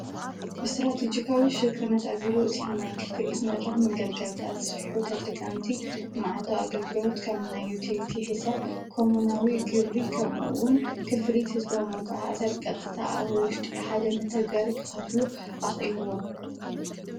ብስትራቴጅካዊ ሽርክነት ኣቢሉ እቲሕናይ ክፍልክ መድራኽ መገልጋልካ ስፊሑ ተጠቀምቲ መዓልታ ኣገልግሮት ከምና ይቲሊቲ ኂሳ ኮምናዊ ግብሪ ኸምውን ክፍሊ ሕዝበዊ ምጎሓዘ ብ ቀጥተ ኣብ ውሽጢ ሓደ መተገሪ ክኸፍሉ ኣኽልዎን።